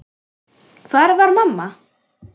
Hvar var mamma?